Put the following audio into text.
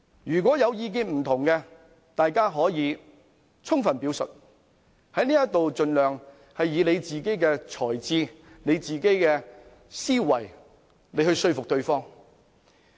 如有意見分歧，大家可以充分表述，在這裏盡量以自己的才智、思維說服對方。